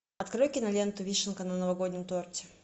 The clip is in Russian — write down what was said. открой киноленту вишенка на новогоднем торте